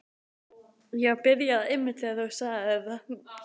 Það var pabbi sem öskraði.